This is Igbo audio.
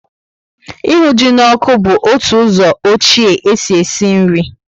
Ịhụ ji na ọkụ bu otu ụzọ ọchie e si esi nri